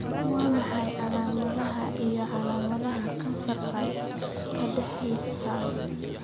Waa maxay calaamadaha iyo calaamadaha kansarka kaadiheysta?